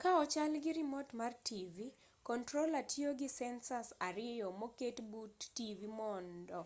ka ochalgi rimot mar tivi controller tiyogi sensors ariyo moket but tivi mond o